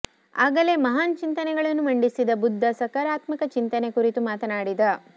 ಆಗಲೇ ಮಹಾನ್ ಚಿಂತನೆಗಳನ್ನು ಮಂಡಿಸಿದ ಬುದ್ಧ ಸಕಾರಾತ್ಮಕ ಚಿಂತನೆ ಕುರಿತು ಮಾತನಾಡಿದ